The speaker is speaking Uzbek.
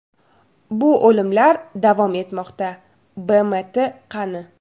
Bu o‘limlar davom etmoqda… BMT qani?